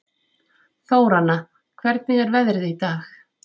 Þóranna, hvernig er veðrið í dag?